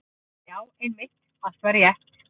Já, einmitt, allt var rétt.